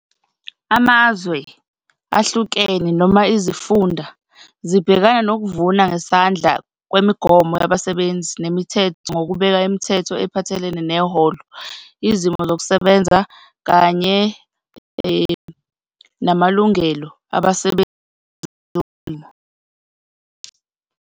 Amazwe ahlukene noma izifunda zibhekana nokuvuna ngesandla kwemigomo yabasebenzi nemithetho, ngokubeka imithetho ephathelene neholo, izimo zokusebenza kanye namalungelo abasebenzi bezolimo.